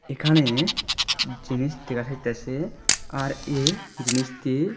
এখানে জিনিস দেখা যাইতাসে আর এ জিনিস দিয়ে--